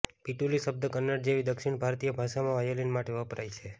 પીટિલુ શબ્દ કન્નડ જેવી દક્ષિણ ભારતીય ભાષામાં વાયોલિન માટે વપરાય છે